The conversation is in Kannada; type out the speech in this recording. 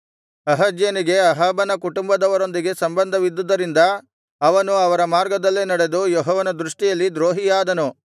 ಅಹಜ್ಯನಿಗೆ ಅಹಾಬನ ಕುಟುಂಬದವರೊಂದಿಗೆ ಸಂಬಂಧವಿದ್ದುದ್ದರಿಂದ ಅವನು ಅವರ ಮಾರ್ಗದಲ್ಲೆ ನಡೆದು ಯೆಹೋವನ ದೃಷ್ಟಿಯಲ್ಲಿ ದ್ರೋಹಿಯಾದನು